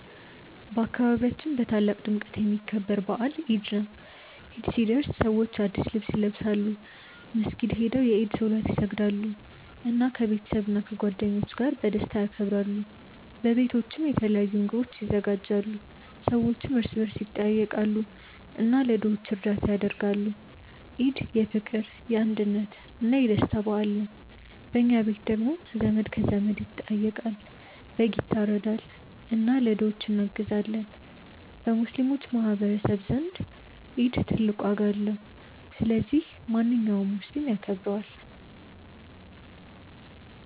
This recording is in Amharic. በአካባቢያችን በታላቅ ድምቀት የሚከበር በዓል ኢድ ነው። ኢድ ሲደርስ ሰዎች አዲስ ልብስ ይለብሳሉ፣ መስጊድ ሄደው የኢድ ሶላት ይሰግዳሉ፣ እና ከቤተሰብና ከጓደኞች ጋር በደስታ ያከብራሉ። በቤቶችም የተለያዩ ምግቦች ይዘጋጃሉ፣ ሰዎችም እርስ በርስ ይጠያየቃሉ እና ለድሆች እርዳታ ያደርጋሉ። ኢድ የፍቅር፣ የአንድነት እና የደስታ በዓል ነው። በኛ ቤት ደግሞ ዘመድ ከዘመድ ይጠያየቃል፣ በግ ይታረዳል እና ለድሆች እናግዛለን። በሙስሊሞች ማህቀረሰብ ዘንድ ኢድ ትልቅ ዋጋ አለው። ስለዚህ ማንኛውም ሙስሊም ያከብረዋል።